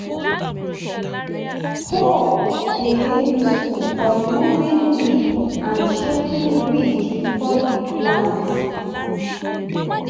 hoe dey useful for removing weed and shaping ridge before you plant.